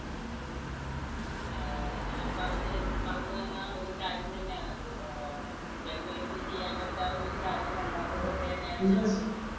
ഏർ ഞാൻ പറഞ്ഞു വരുന്ന ~ പറഞ്ഞു വന്ന ഒരു കാര്യം തന്നെയാണ്. അഹ് ഒറ്റക്കിരുന്ന് ചെയ്യാൻ പറ്റാവുന്ന ഒരു കാര്യമല്ലാത്തതു കൊണ്ടുതന്നെയാണ് ഞാൻ പറയുന്നത്.